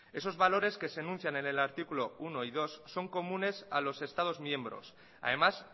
esos valores que se anuncian en el artículo uno y dos son comunes a los estados miembros además